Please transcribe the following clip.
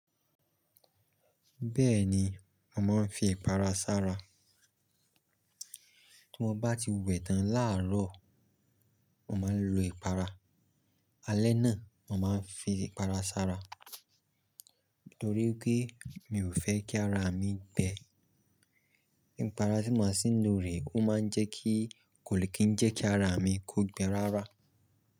Bẹ́ẹ̀ni, mo màá n fi ìpara ṣára. Tí mo bá ti wẹ tán láàrọ̀, mo máa ń lo ìpara. Alẹ́ náà, mo màá n fi ìpara ṣára nítorí pé mi ò fẹ́ kí ara mi gbẹ. Ìpara tí mo sí ń lò rẹ̀, ó máa ń jẹ́ kí kò lè kí ń jẹ́ kí ara mi kó gbẹ rárá.